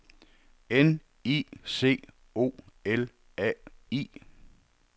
N I C O L A I